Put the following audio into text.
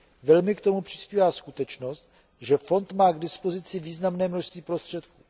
Velmi k tomu přispívá skutečnost, že fond má k dispozici významné množství prostředků.